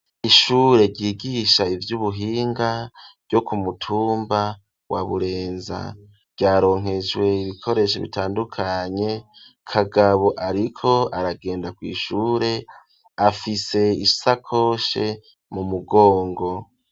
Ishure ryigisha ivy'ubuhinga ryo ku mutumba wa Burenza ryaronkejwe ibikoresho bitandukanye. Kagabo ariko aragenda kw'ishure afise isakoshe mu mugongo.